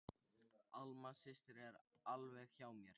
Alma systir er alveg hjá mér.